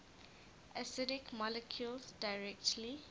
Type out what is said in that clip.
acidic molecules directly